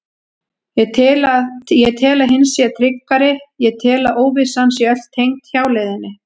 Ég tel að hin sé tryggari, ég tel að óvissan sé öll tengd hjáleiðinni.